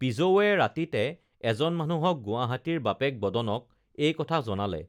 পিজৌৱে ৰাতিতে এজন মানুহক গুৱাহাটীৰ বাপেক বদনক এই কথা জনালে